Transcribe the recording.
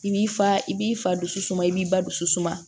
I b'i fa i b'i fa dusu suma i b'i ba dusu suma